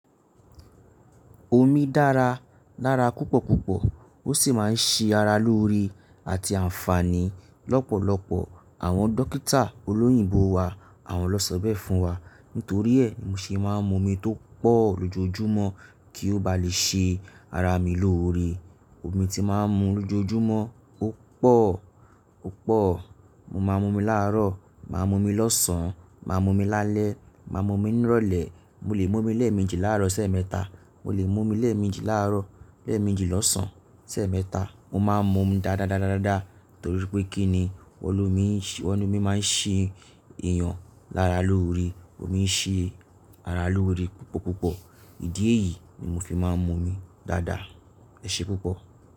Omi dára lára púpọ̀ púpọ̀ ó sì máa ń ṣe ara lóore àti àǹfààní lọ́pọ̀lọpọ̀. Àwọn dókítà olóyìnbo wa àwọn lọ sọ bẹ́ẹ̀ fún wa. Nítorí ẹ̀ mo ṣe máa ń mu omi tó pọ̀ lójoojúmọ́ kí ó bá lè ṣe ara mi lóore. Omi tí màá ń mu lójoojúmọ́ ó pọ̀, ó pọ̀. Mo máa ń mu omi láàárọ̀, màá mu omi lọ́sàn án, màá mu omi lálẹ́, màá mu omi nírọ̀lẹ́. Mo lè mu omi lẹ́ẹ̀mejì láàárọ̀, sèémẹ́ta. Mo lè mu omi lẹ́ẹ̀mejì láàárọ̀, lẹ́ẹ̀mejì lọ́sàn án, sèémẹ́ta. Mo máa ń momi dáadáa, dáadáa, dáadáa torí pé kí ni won lómi, won lómi máa ń ṣe èèyàn lára lóore. Omi ń ṣe ara lóore púpọ̀ púpọ̀. Ìdí èyí ni mo fi máa ń mu omi dáadáa. Ẹ ṣe púpọ̀.